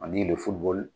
Ani lefuli